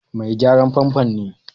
Mai gyaran famfo ne.